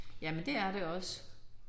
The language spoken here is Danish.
Jamen det er det også